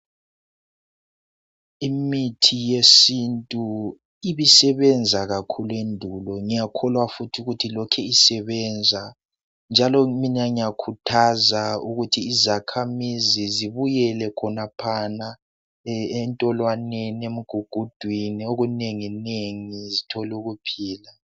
Imithi yesintu ibisebenza kakhulu endulo ngiyakholwa futhi ukuthi ilokhu isebenza njalo mina ngiyakhuthaza ukuthi izakhamizi zibuyele khonaphana entolwaneni, emgugudweni okunenginengi zithole ukuphila.